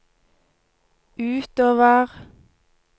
utover